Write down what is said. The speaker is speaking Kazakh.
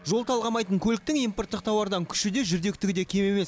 жол талғамайтын көліктің импорттық тауардан күші де жүрдектігі де кем емес